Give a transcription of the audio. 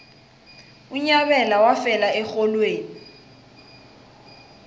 unyabela wafela erholweni